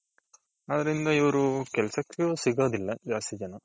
ಅದ್ರಿಂದ ಇವ್ರು ಕೆಲ್ಸುಕು ಸಿಗೋದಿಲ್ಲ ಜಾಸ್ತಿ ಜನ.